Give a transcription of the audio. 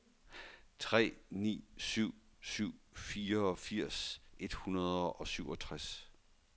tre ni syv syv fireogfirs et hundrede og syvogtres